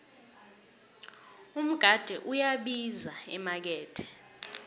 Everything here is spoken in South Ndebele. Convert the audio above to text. umgade uyabiza emakethe